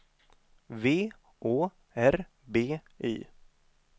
V Å R B Y